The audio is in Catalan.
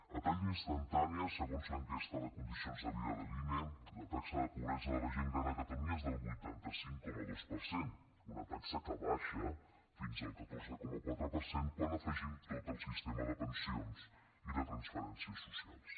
a tall d’instantània segons l’enquesta de condicions de vida de l’ine la taxa de pobresa de la gent gran a catalunya és del vuitanta cinc coma dos per cent una taxa que baixa fins al catorze coma quatre per cent quan afegim tot el sistema de pensions i de transferències socials